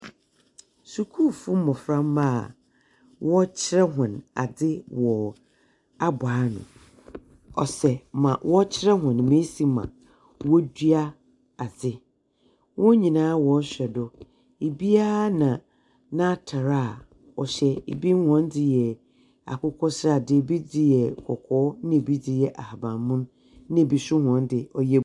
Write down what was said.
Skuulfo mboframba a wɔrekyerɛ hɔn adze wɔ abowano, ɔsɛ ma wɔrekyer hɔn mbrɛ osi ma wɔdua adze. Wɔn nyina wɔrohwɛ do, biara na n’atar a ɔhyɛ, bi hɔn dze yɛ akokɔsradze, bi hɔn dze yɛ kɔkɔɔ, na bi dze yɛ ahabanmon na bi so hɔn dze ɔyɛ .